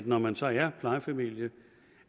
når man så er plejefamilie